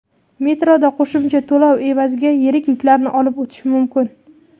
Metroda qo‘shimcha to‘lov evaziga yirik yuklarni olib o‘tish mumkin.